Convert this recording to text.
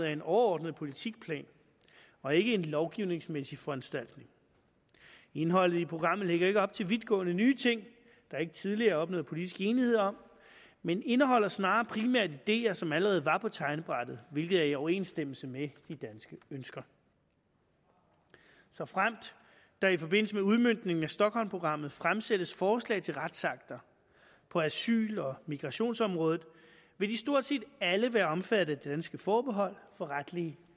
er en overordnet politikplan og ikke en lovgivningsmæssig foranstaltning indholdet i programmet lægger ikke op til vidtgående nye ting der ikke tidligere er opnået politisk enighed om men indeholder snarere primært ideer som allerede var på tegnebrættet hvilket er i overensstemmelse med de danske ønsker såfremt der i forbindelse med udmøntningen af stockholmprogrammet fremsættes forslag til retsakter på asyl og migrationsområdet vil de stort set alle være omfattet af det danske forbehold for retlige